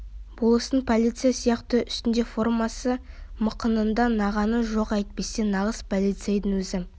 болыстың полицейі сияқты үстінде формасы мықынында нағаны жоқ әйтпесе нағыз полицейдің өзі